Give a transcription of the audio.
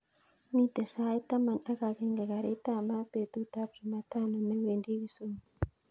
Miten sait taman ak agenge garit ab maat betut ab chumatano newendi kisumu